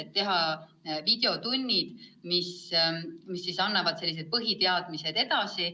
Nad tahavad teha videotunnid, mis annavad põhiteadmisi edasi.